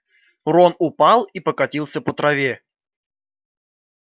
рон упал и покатился по траве